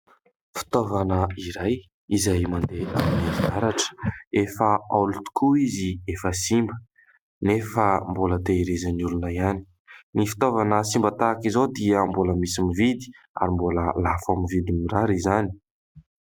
Fitaovana iray izay mandeha amin'ny herinaratra. Efa haolo tokoa izy, efa simba, nefa mbola tehirizin'ny olona ihany. Ny fitaovana simba tahaka izao dia mbola misy mividy ary mbola lafo amin'ny vidiny mirary izany.